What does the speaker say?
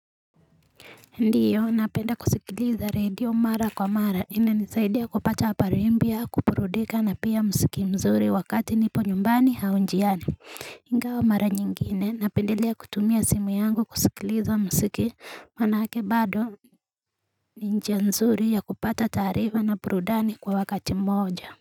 Ndiyo napenda kusikiliza radio mara kwa mara inanisaidia kupata habari mpya kuburudika na pia mziki mzuri wakati nipo nyumbani au njiani Ingawa wa mara nyingine napendelea kutumia simu yangu kusikiliza mziki manake bado ni njia nzuri ya kupata taarifa na burudani kwa wakati mmoja.